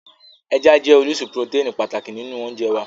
Ẹja jẹ́ orísun purotẹ́ẹ̀nì pàtàkì nínú oúnjẹ wá